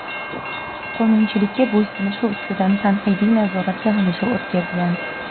qonunchilikka bo‘ysunishi ustidan tanqidiy nazorat yig‘ilishi o‘tkazgan.